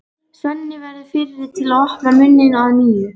Svenni verður fyrri til að opna munninn að nýju.